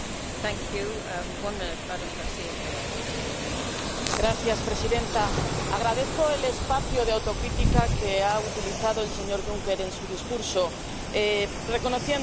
Señora presidenta, agradezco el espacio de autocrítica que ha utilizado el señor Juncker en su discurso, reconociendo los problemas por los que pasa el proyecto europeo.